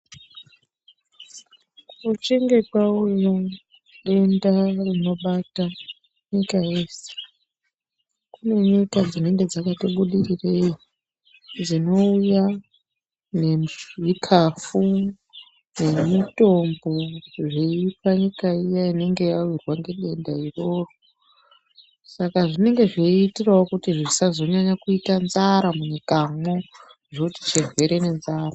Kuchinge kwauya denda rinobate nyika yeshe kune nyika dzinenge dzakati budirirei dzinouya nezvikafu nemitombo zveipa nyika iya inenge yawirwa ngedenda iroro saka zvinenge zveitirawo kuti zvisazonyanya kuita nzara munyikamwo zvoti chirwere nenzara.